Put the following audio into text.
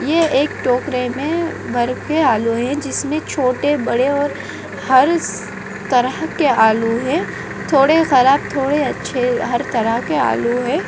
ये एक टोकरे में भर के आलू हैं जिसमें छोटे-बड़े और हार्स तरह की आलू है थोड़े ख़राब थोड़े अच्छे हर तरह के आलू है।